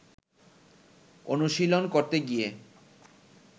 অনুশীলন করতে গিয়ে